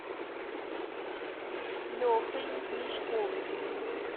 лехой мешковым